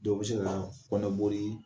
Dɔ bɛ se ka kɔnɔboli